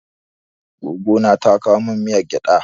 Goggo na ta kowa min miyar gyaɗa.